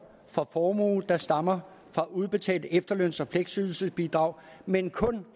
fra formue der stammer fra udbetalt efterløns og fleksydelsesbidrag men kun